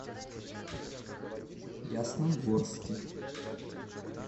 ясногорске